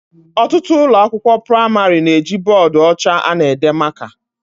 Ọtụtụ ụlọ akwụkwọ pramarị na eji bọdụ ọcha ana ede maka